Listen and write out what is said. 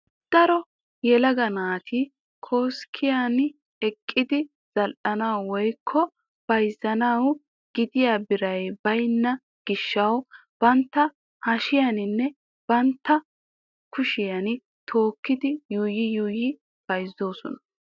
Daro yelagga naati koskkiyan eqqidi zal"anawu woyikko bayizzanawu gidiya biray bayina gishshaw bantta hashiyaaninne bantta kushiyan tookidi yuuyyi yuuyyi bayizoosona.